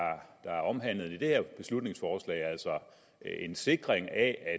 er omhandlet i det her beslutningsforslag altså en sikring af at